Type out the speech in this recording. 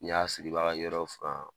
N'i y'a sigi i b'a ka yɔrɔ furan